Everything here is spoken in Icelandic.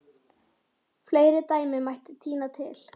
Fleiri dæmi mætti tína til.